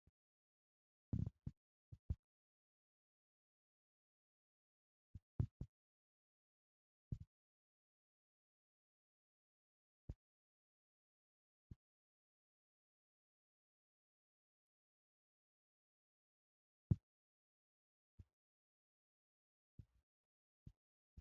Macca na"iyaa lo"oo puulayiya maayuwan bana qumashada xeelawu banqqatawus So giddon de"iyaa huygen hiixettida jibaay, keettaa giddon xeelawu lo'iyaa buquratti keehippe ayffiyan yeemoyosona.